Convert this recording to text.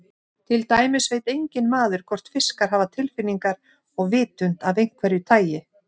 Til dæmis veit enginn maður hvort fiskar hafa tilfinningar og vitund af einhverju tagi.